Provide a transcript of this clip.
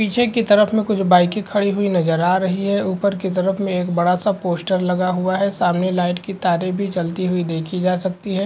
पीछे की तरफ में कुछ बाइके खड़ी हुई नजर आ रही है। ऊपर के तरफ में बड़ा-सा पोस्टर लगा हुआ है। सामने लाइट की तारे भी जलती हुई देखी जा सकती हैं।